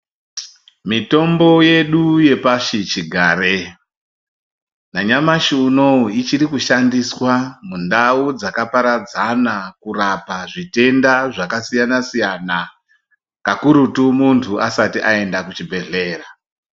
Mitombo yedu yepashichigare, nanyamashi unouyu ichirikushandiswa mundau dzakaparadzana kurapa zvitenda zvakasiyana-siyana, kakurutu, muntu asati aenda kuchibhedhlera.